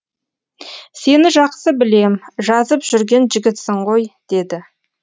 сені жақсы білем жазып жүрген жігітсің ғой деді